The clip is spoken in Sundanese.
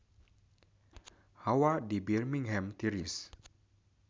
Hawa di Birmingham tiris